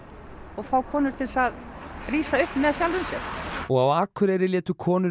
og fá konur til þess að rísa upp með sjálfum sér og á Akureyri létu konur